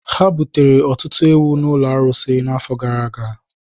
Ha butere ọtụtụ ewu n’ụlọ arụsị n’afọ gara aga.